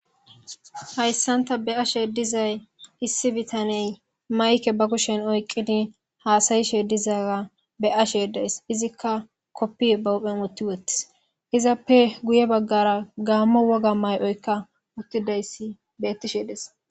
Hayssanta be ashe dizay issi bitaney mayke ba kushen oyqqidi haasayishe dizaga be ashe days izikka koppi bawphen wotti wottis izappe guye baggara gaammo woga may'oykka uttidayssi beettishe des.